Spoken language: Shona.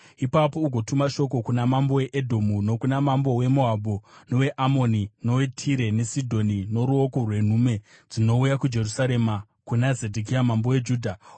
Ipapo ugotuma shoko kuna mambo weEdhomu, nokuna mambo weMoabhu, noweAmoni, noweTire neSidhoni noruoko rwenhume dzinouya kuJerusarema kuna Zedhekia mambo weJudha.